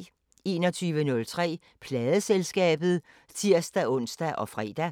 21:03: Pladeselskabet (tir-ons og fre)